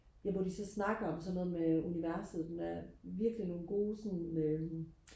ja hvor de så snakker om sådan noget med universet med virkelig nogle gode sådan øhm